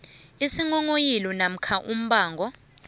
isinghonghoyilo namkha umbango